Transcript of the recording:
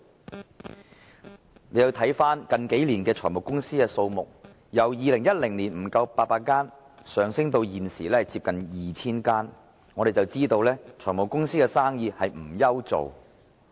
大家看到，近年財務公司的數目由2010年不足800間，上升至現時接近 2,000 間，可知財務公司不愁沒有生意。